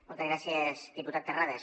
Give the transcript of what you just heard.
moltes gràcies diputat terrades